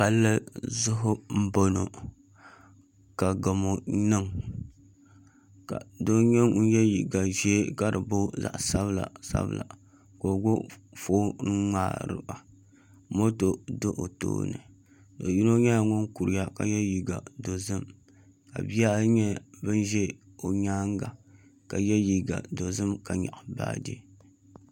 Palli zuɣu n boŋo ka gamo niŋ ka doo nyɛ ŋun yɛ liiga ʒiɛ ka di booi zaɣ sabila sabila ka o gbubi foon n ŋmaaro moto do o tooni do yino nyɛla ŋun kuriya ka yɛ liiga dozim ka bihi ayi nyɛ bin ʒɛ o nyaanga ka yɛ liiga dozim ka nyaɣa baaji